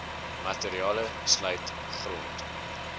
materiale sluit grond